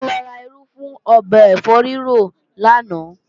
A lọ ra irú fún ọbẹ̀ ẹ̀fọ́ rírò lánàá